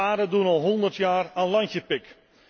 Tsaren doen al honderd jaar aan landje pik.